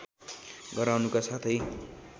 गराउनुका साथै